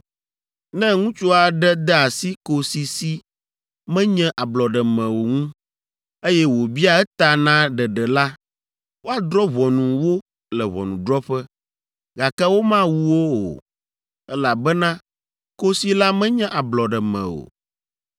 “ ‘Ne ŋutsu aɖe de asi kosi si menye ablɔɖeme o ŋu, eye wòbia eta na ɖeɖe la, woadrɔ̃ ʋɔnu wo le ʋɔnudrɔ̃ƒe, gake womawu wo o, elabena kosi la menye ablɔɖeme o.